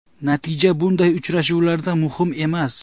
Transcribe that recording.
Natija bunday uchrashuvlarda muhim emas.